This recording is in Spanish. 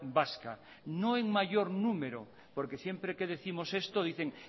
vasca no en mayor número porque siempre que décimos esto dicen